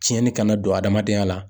Tiɲɛni kana don adamadenya la.